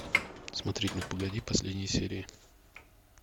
смотреть ну погоди последние серии